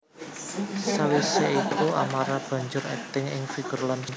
Sawisé iku Amara banjur akting ing film lan sinétron